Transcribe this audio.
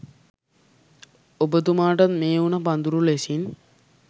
ඔබතුමාටත් මේ උණ පඳුර ලෙසින්